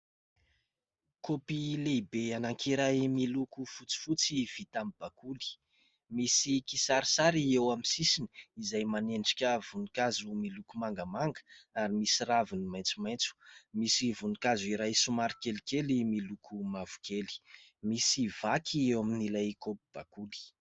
Kaopy lehibe anankiray miloko fotsifotsy vita amin'ny bakoly. Misy kisarisary eo amin'ny sisiny izay manendrika voninkazo miloko mangamanga ary misy raviny maitsomaitso. Misy voninkazo iray somary kelikely miloko mavokely. Misy vaky eo amin'ilay kaopy bakoly.